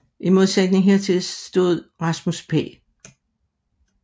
I modsætning hertil stod Rasmus P